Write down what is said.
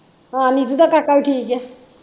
ਹਾਂ ਨੀਤੂ ਦਾ ਕਾਕਾ ਵੀ ਠੀਕ ਆ